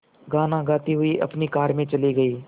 गाना गाते हुए अपनी कार में चले गए